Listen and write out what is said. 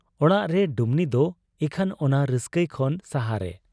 ᱚᱲᱟᱜᱨᱮ ᱰᱩᱢᱱᱤᱫᱚ ᱤᱠᱷᱟᱹᱱ ᱚᱱᱟ ᱨᱟᱹᱥᱠᱟᱹᱭ ᱠᱷᱚᱱ ᱥᱟᱦᱟᱨᱮ ᱾